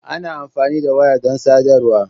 Ana amfani da waya don sadarwa.